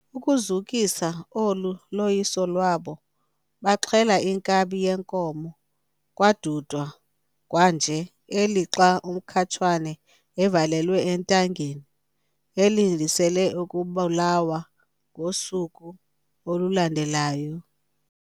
Ukuzukisa olu loyiso lwabo, baaxhela inkabi yenkomo, kwadudwa kwanje, elixa uMkhatshane evalelwe entangeni - elindisele ukubulawa ngosuku olulandelayo.